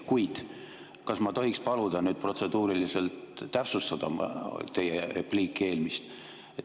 Kuid kas ma tohiksin paluda nüüd protseduuriliselt täpsustada teie eelmist repliiki?